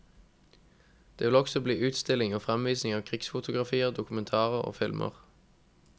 Det vil også bli utstilling og fremvisning av krigsfotografier, dokumentarer og filmer.